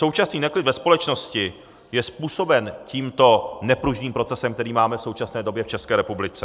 Současný neklid ve společnosti je způsoben tímto nepružným procesem, který máme v současné době v České republice.